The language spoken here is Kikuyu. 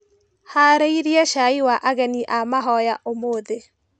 Harĩirie cai wa ageni a mahoya ũmũthĩ.